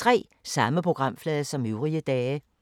Samme programflade som øvrige dage